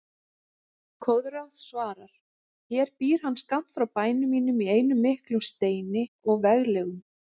Koðrán svarar: Hér býr hann skammt frá bæ mínum í einum miklum steini og veglegum